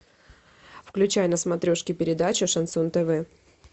включай на смотрешке передачу шансон тв